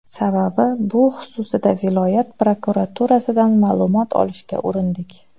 Sababi bu xususida viloyat prokuraturasidan ma’lumot olishga urindik.